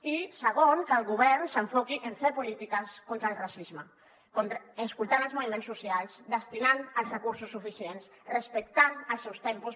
i segon que el govern s’enfoqui en fer polítiques contra el racisme escoltant els moviments socials destinant hi els recursos suficients respectant els seus tempos